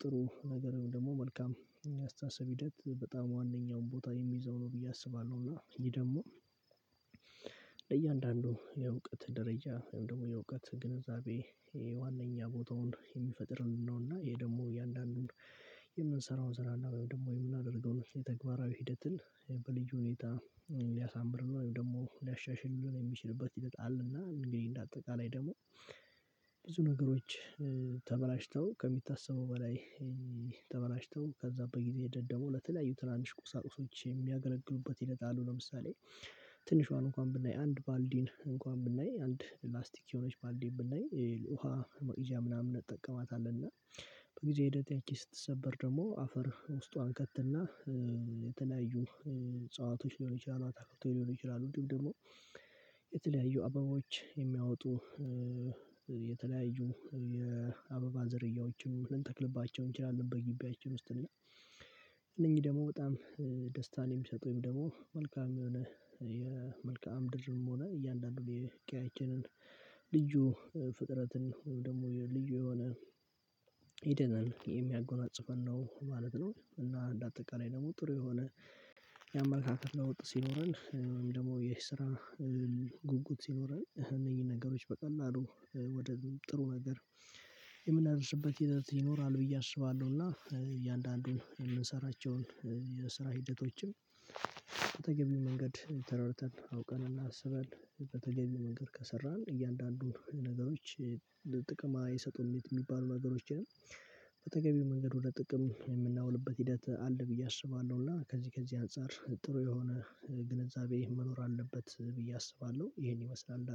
ጥሩ ነገር ደግሞ መልካም ያአስተሳሰብ ሂደት በጣም ዋናኛውን ቦታ የሚይዘው ነው ብዬ አስባለሁ። እና ይሄ ደግሞ ለእያንዳንዱ የእውቀት ደረጃ ወይም ደግሞ የእውቀት ግንዛቤ ዋናኛ ቦታውን የሚፈጥርልን ነው። እና ይሄ ደግሞ እያንዳንዱን የምንሰራው ሰራና ወይም ደግሞ የምናደርገው የተግባራዊ ሂደትን በልዩ ሁኔታ ሊያሳምር ወይም ደግሞ ሊያሻሽልን የሚችልበት ሂደት አለና እንግዲህ እንደ አጠቃላይ ደግሞ ብዙ ነገሮች ተበላሽተው ከሚታሰበው በላይ ተበላሽተው ከዛ በጊዜ ሂደት ደግሞ ለተለያዩ ትናንሽ ቁሳቁሶች የሚያገለግሉበት ሂደት አሉ። ለምሳሌ ትንሿን እንኳን ብናይ አንድ ባልዲን እንኳን ብናይ አንድ ላስቲክ የሆነች ባልዲን ብናይ ውሃ መቅጃ ምናምን እንጠቀማታለን እና በጊዜ ሂደት ያቺ ስትሰበር ደግሞ አፈር ውስጧ እንከትና የተለያዩ እጸዋቶች ሊሆን ይችላል አታክልቶች ሊሆን ይችላል እንዲሁም ደግሞ የተለያዩ አበባዎች የሚያወጡ የተለያዩ የአበባ ዘርያዎችን ልንተክልባቸው እንችላለን። በግቢያችን ውስጥ እና እነኚህ ደግሞ በጣም ደስታን የሚሰጡኝ ደግሞ መልካም የሆነ የመልካም ምድርም ሆነ እያንዳንዱን የቄያችንን ልዩ ፍጥረትን ወይም ደግሞ ልዩ የሆነ ይደነን የሚያጎናጽፈን ነው ማለት ነው። እና እንደ አጠቃላይ ደግሞ ጥሩ የሆነ የአማለካክት ለውጥ ሲኖረን ደግሞ የስራ ጉጉት ሲኖረን እነኚህን ነገሮች በቀላሉ ወደ ጥሩ ነገር የምናደርስበት ሂደት ይኖራል ብዬ አስባለሁና እያንዳንዱን የምንሰራቸውን የስራ ሂደቶችን በተገቢው መንገድ ተረድተን አውቀን እና አስበን በተገቢው መንገድ ከሰራን እያንዳንዱን ነገሮች ጥቅማ አየሰጡን የሚባሉ ነገሮችንም በተገቢው መንገድ ወደ ጥቅም የምናውልበት ሂደት አለ ብዬ አስባለሁ። እና ከዚህ ከዚህ አንፃር ጥሩ የሆነ ግንዛቤ መኖር አለበት ብዬ አስባለሁ ይሄን ይመስላል